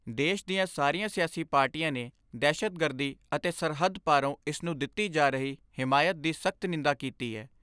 ਦੇਸ਼ ਦੀਆਂ ਸਾਰੀਆਂ ਸਿਆਸੀ ਪਾਰਟੀਆਂ ਨੇ ਦਹਿਸ਼ਤਗਰਦੀ ਅਤੇ ਸਰਹੱਦ ਪਾਰੋਂ ਇਸ ਨੂੰ ਦਿੱਤੀ ਜਾ ਰਹੀ ਹਮਾਇਤ ਦੀ ਸਖਤ ਨਿੰਦਾ ਕੀਤੀ ਏ।